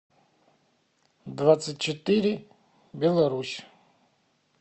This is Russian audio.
двадцать четыре беларусь